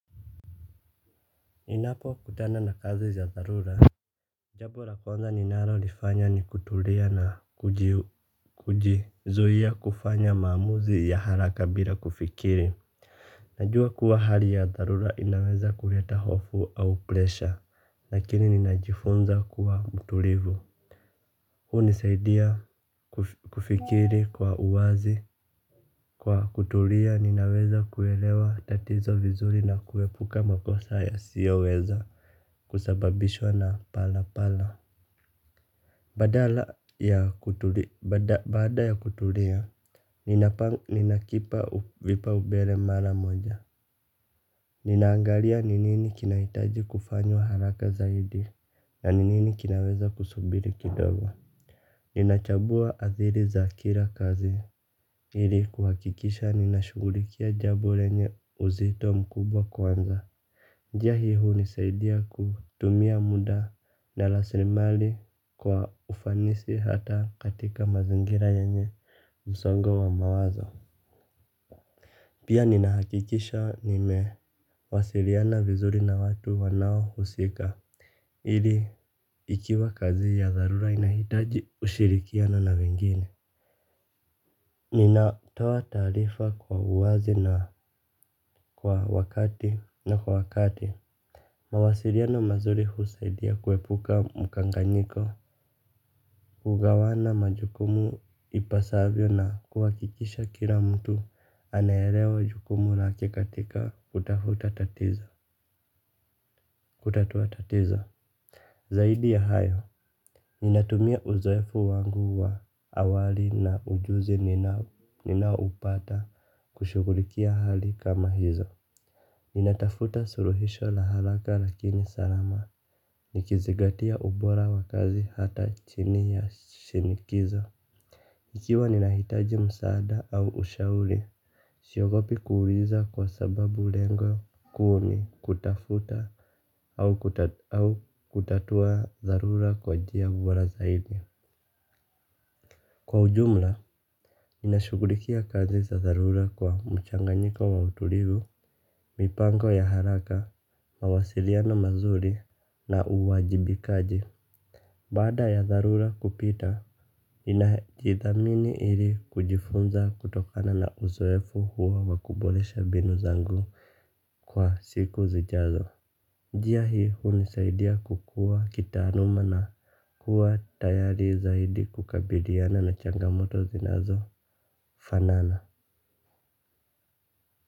Ninapokutana na kazi ya dharura, jambo la kwanza ninalolifanya ni kutulia na kujizuia kufanya maamuzi ya haraka bila kufikiri. Najua kuwa hali ya dharura inaweza kuleta hofu au pressure, lakini ninajifunza kuwa mtulivu. Hunisaidia kufikiri kwa uwazi, kwa kutulia ninaweza kuelewa tatizo vizuri na kuepuka makosa yasiyoweza kusababishwa na pala pala. Baada ya kutulia, ninakipa vipaubele mara moja. Ninaangalia ni nini kinahitaji kufanywa haraka zaidi na ni nini kinaweza kusubiri kidogo. Ninachambua adhiri za kila kazi ili kuhakikisha ninashughulikia jambo lenye uzito mkubwa kwanza njia hii hunisaidia kutumia muda na rasilimali kwa ufanisi hata katika mazingira yenye msongo wa mawazo. Pia ninahakikisha nimewasiliana vizuri na watu wanaohusika ili ikiwa kazi ya dharura inahitaji ushirikiano na wengine. Ninatoa taarifa kwa uwazi na kwa wakati na kwa wakati. Mawasiliano mazuri husaidia kuepuka mkanganyiko. Hugawana majukumu ipasavyo na kuhakikisha kila mtu anaelewa majukumu na lake katika kutafuta tatizo. Zaidi ya hayo, ninatumia uzoefu wangu wa awali na ujuzi. Ninapupata. Kushughulikia hali kama hizo natafuta suluhisho la haraka lakini salama nikizingatia ubora wa kazi hata chini ya shinikizo. Ikiwa ninahitaji msaada au ushauri siogopi kuuliza kwa sababu lengo kuu ni kutafuta au kutatua dharura kwa njia bora zaidi. Kwa ujumla, ninashughulikia kazi za dharura kwa mchanganyiko wa utulivu. Mipango ya haraka, mawasiliano mazuri na uwajibikaji. Baada ya dharura kupita, ninajithamini ili kujifunza kutokana na uzoefu huwa wa kuboresha mbinu zangu kwa siku zijazo. Njia hii hunisaidia kukua kitaaluma na kuwa tayari zaidi kukabiliana na changamoto zinazo fanana.